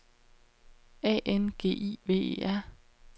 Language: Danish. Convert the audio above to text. A N G I V E R